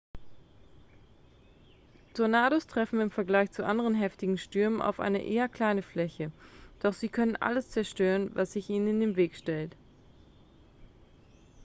tornados treffen im vergleich zu anderen heftigen stürmen auf eine eher kleine fläche doch sie können alles zerstören was sich ihnen in den weg stellt